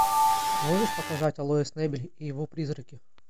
можешь показать алоис небель и его призраки